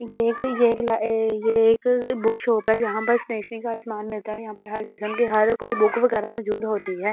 एक ये एक बुक शॉप है जहां पर स्नेशनी का असमान मिलता है यहां पर हर किस्म की हर कोई बुक वगैरह मौजूद होती है।